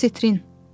Asetrin.